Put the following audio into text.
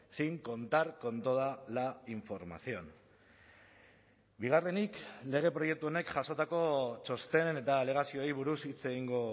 sin contar con toda la información bigarrenik lege proiektu honek jasotako txosten eta alegazioei buruz hitz egingo